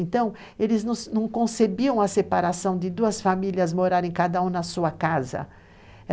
Então, eles não concebiam a separação de duas famílias morarem cada um na sua casa.